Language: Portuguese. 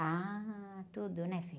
Ah, tudo, né, filho?